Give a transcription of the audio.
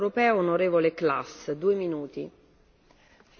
Frau Präsidentin, Herr Kommissar, liebe Kolleginnen und Kollegen!